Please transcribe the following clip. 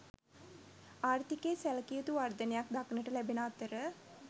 ආර්ථිකයේ සැලකිය යුතු වර්ධනයක් දක්නට ලැබෙන අතර